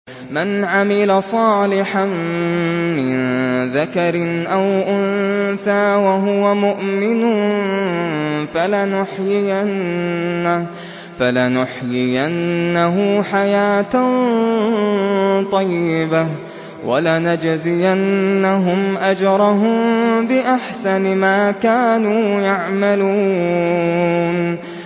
مَنْ عَمِلَ صَالِحًا مِّن ذَكَرٍ أَوْ أُنثَىٰ وَهُوَ مُؤْمِنٌ فَلَنُحْيِيَنَّهُ حَيَاةً طَيِّبَةً ۖ وَلَنَجْزِيَنَّهُمْ أَجْرَهُم بِأَحْسَنِ مَا كَانُوا يَعْمَلُونَ